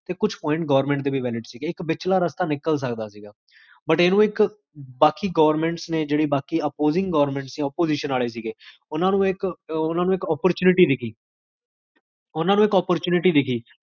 ਸ੍ਦ੍ਫ਼